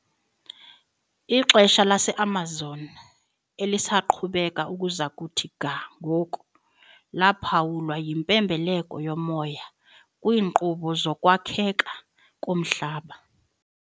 Ixesha laseAmazon, elisaqhubeka ukuza kuthi ga ngoku, laphawulwa yimpembelelo yomoya kwiinkqubo zokwakheka komhlaba .